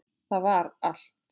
Það var allt.